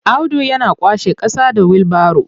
Audu yana kwashe ƙasa da wilbaro.